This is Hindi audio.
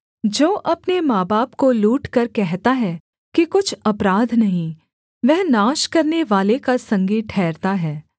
जो अपने माँबाप को लूटकर कहता है कि कुछ अपराध नहीं वह नाश करनेवाले का संगी ठहरता है